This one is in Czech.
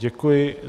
Děkuji.